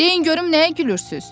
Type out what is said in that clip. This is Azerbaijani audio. Deyin görüm nəyə gülürsüz?